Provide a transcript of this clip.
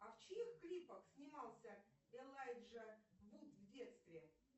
а в чьих клипах снимался элайджа вуд в детстве